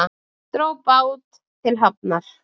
Dró bát til hafnar